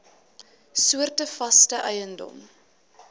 soorte vaste eiendom